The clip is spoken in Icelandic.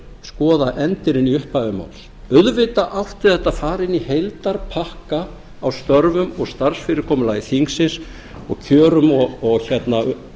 skoða endirinn í upphafi máls auðvitað átti þetta að fara inn í heildarpakka af störfum og starfsfyrirkomulagi þingsins og kjörum og umönnun